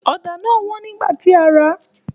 Ọ̀dà náà wọ́n nígbà tí a rà a